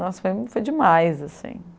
Nossa, fui foi demais, assim.